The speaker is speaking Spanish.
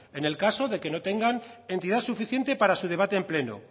en el caso de que no tengan entidad suficiente para su debate en pleno